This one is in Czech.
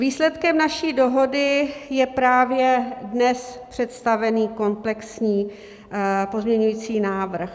Výsledkem naší dohody je právě dnes představený komplexní pozměňovací návrh.